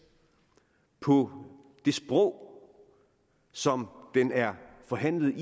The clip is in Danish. på det sprog som den er forhandlet